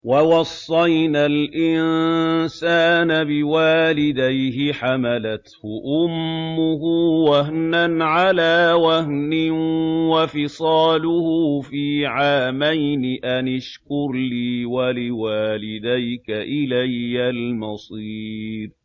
وَوَصَّيْنَا الْإِنسَانَ بِوَالِدَيْهِ حَمَلَتْهُ أُمُّهُ وَهْنًا عَلَىٰ وَهْنٍ وَفِصَالُهُ فِي عَامَيْنِ أَنِ اشْكُرْ لِي وَلِوَالِدَيْكَ إِلَيَّ الْمَصِيرُ